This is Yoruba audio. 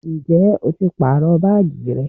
Ǹjẹ́ o ti pàrọ baagi rẹ?